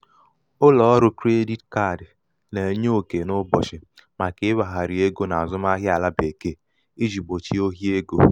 ụlọ̀ ọrụ̄ kredit kadị nà-ènye okè n’ụbọ̀chị̀ màkà iwèghàrị egō n’àzụmahịa àlà bekee ijī gbòchie ohi egō.